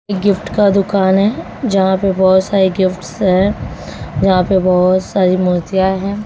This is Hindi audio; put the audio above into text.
गिफ्ट का दुकान है जहां पे बहोत सारे गिफ्ट्स हैं जहां पे बहोत सारी मूर्तियां है।